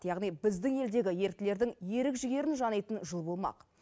яғни біздің елдегі еріктілердің ерік жігерін жанитын жыл болмақ